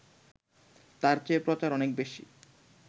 তার চেয়ে প্রচার অনেক বেশি